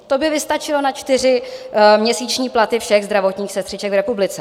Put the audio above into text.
To by vystačilo na čtyři měsíční platy všech zdravotních sestřiček v republice.